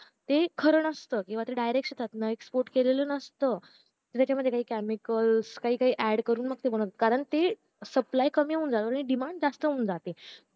ते खार नसत किंवा ते direct शेतातून export केलेलं नसत त्याच्या मध्ये chemical काही काही add करून बनवता कारण ते supply कमी होऊन जाते आणि demand जास्त होऊन जाते